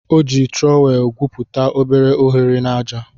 O ji trọwel egwuputa obere ohere n'aja.